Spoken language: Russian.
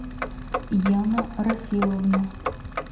яна рафиловна